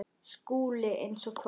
SKÚLI: Eins og hvað?